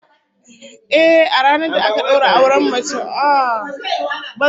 Ehh, a ranar da aka daura auren mace budurwa, a ranar ake daukar ta zuwa gidan mijin ta